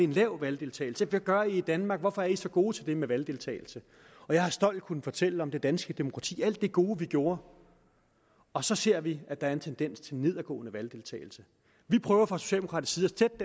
en lav valgdeltagelse hvad gør i i danmark hvorfor er i så gode til det med valgdeltagelse jeg har stolt kunnet fortælle om det danske demokrati alt det gode vi gjorde og så ser vi at der er en tendens til nedadgående valgdeltagelse vi prøver fra socialdemokratisk